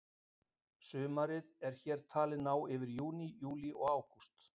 Sumarið er hér talið ná yfir júní, júlí og ágúst.